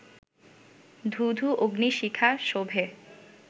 ধূ ধূ অগ্নি-শিখা শোভে